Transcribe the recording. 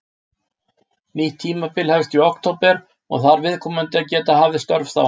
Nýtt tímabil hefst í október og þarf viðkomandi að geta hafið störf þá.